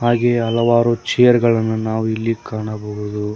ಹಾಗೆ ಹಲವಾರು ಚೇರ್ ಗಳನ್ನು ನಾವು ಇಲ್ಲಿ ಕಾಣಬಹುದು.